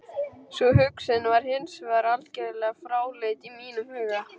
Sú hugsun var hins vegar algjörlega fráleit í mínum huga.